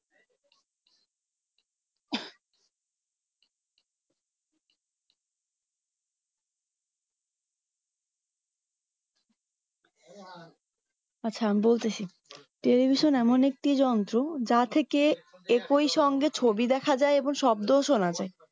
আচ্ছা আমি বলতেছি টেলিভিশন এমন একটি যন্ত্র যা থেকে একই সঙ্গে ছবি দেখা যাই এবং শব্দও সোনা যাই